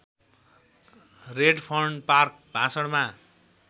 Redfern park भाषणमा